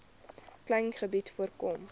klein gebied voorkom